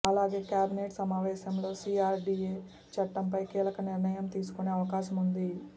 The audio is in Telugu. అలాగే కేబినెట్ సమావేశంలో సీఆర్డీఏ చట్టంపై కీలక నిర్ణయం తీసుకునే అవకాశముంది